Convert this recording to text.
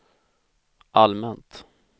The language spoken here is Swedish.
allmänt